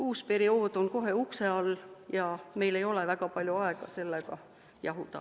Uus periood on kohe ukse all ja meil ei ole väga palju aega sellega jahuda.